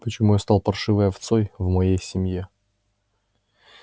почему я стал паршивой овцой в моей семье